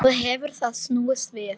Nú hefur það snúist við.